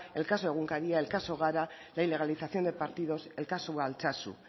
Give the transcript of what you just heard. el caso egunkaria el caso gara la ilegalización de partidos el caso de altsasu